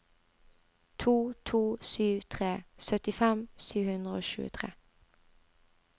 to to sju tre syttifem sju hundre og tjuetre